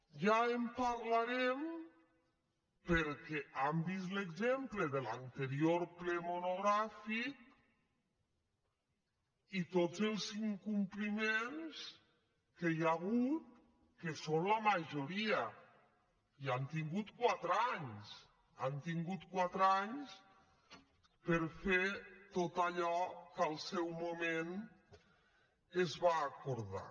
ja en parlarem perquè han vist l’exemple de l’anterior ple monogràfic i tots els incompliments que hi ha hagut que són la majoria i han tingut quatre anys han tingut quatre anys per a fer tot allò que en el seu moment es va acordar